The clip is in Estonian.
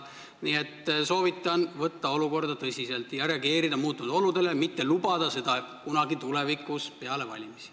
Nii et soovitan võtta olukorda tõsiselt ja reageerida muutunud oludele, mitte lubada seda teha kunagi tulevikus, peale valimisi.